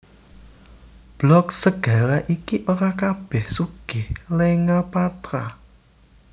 Blok segara iki ora kabèh sugih lenga patra